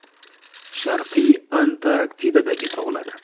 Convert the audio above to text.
Sharqiy Antarktidadagi tog‘lar.